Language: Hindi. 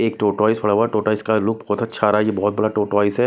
एक टॉर्टोइस पड़ा हुआ टॉर्टोइस का लूक बहुत अच्छा आ रहा है यह बहुत बड़ा टॉर्टोइस है।